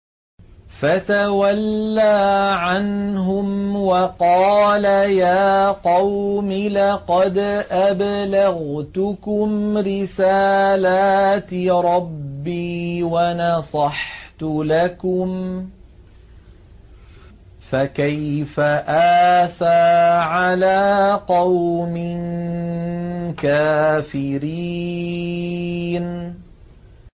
فَتَوَلَّىٰ عَنْهُمْ وَقَالَ يَا قَوْمِ لَقَدْ أَبْلَغْتُكُمْ رِسَالَاتِ رَبِّي وَنَصَحْتُ لَكُمْ ۖ فَكَيْفَ آسَىٰ عَلَىٰ قَوْمٍ كَافِرِينَ